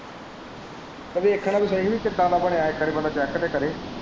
ਵੇਖਣਾ ਤਾਂ ਸਹੀ ਹੀ ਕਿੱਦਾਂ ਦਾ ਬਣਿਆ ਇੱਕ ਵਾਰੀ ਬੰਦਾ ਚੈਕ ਤਾਂ ਕਰੇ।